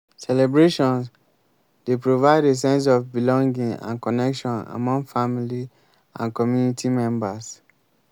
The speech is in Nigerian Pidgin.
celebrations dey provide a sense of belonging and connection among family and community members.